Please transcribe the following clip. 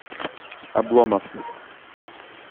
обломов